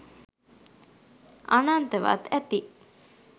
අනන්තවත් ඇති!